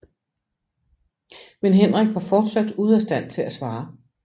Men Henrik var fortsat ude af stand til at svare